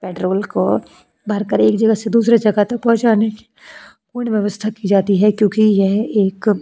petrol को भरकर एक जगह से दूसरी जगह तक पहुंचाने की पूर्ण व्यवस्था की जाती है क्योंकि यह एक --